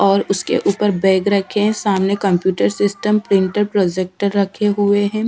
और उसके ऊपर बैग रखें है सामने कम्प्यूटर सिस्टम प्रिंटर प्रोजेक्टर रखे हुए हैं।